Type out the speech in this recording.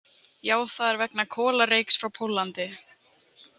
Já, það er vegna kolareyks frá Póllandi.